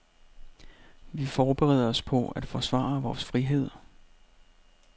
Vi forbereder os på at forsvare vores frihed.